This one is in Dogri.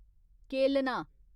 केलना